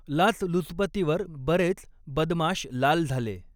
लाच लुचपतीवर बरेच, बदमाष लाल झाले